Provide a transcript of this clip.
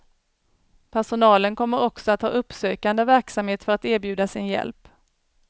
Personalen kommer också att ha uppsökande verksamhet för att erbjuda sin hjälp.